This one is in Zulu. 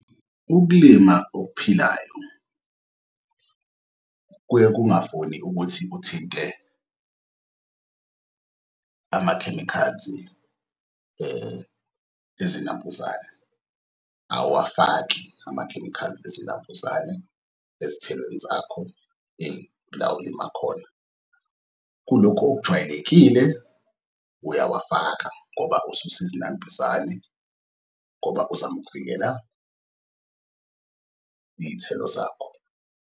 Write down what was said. Ukulima okuphilayo kuye kungafuni ukuthi uthinte ama-chemicals-i ezinambuzane, awuwafaki ama-chemicals ezinambuzane ezithelweni zakho la olima akhona. Kulokhu okujwayelekile uyawafaka ngoba ususa izinambuzani ngoba uzama ukuvikela iy'thelo zakho.